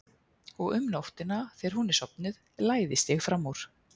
Og um nóttina þegar hún er sofnuð læðist ég fram úr.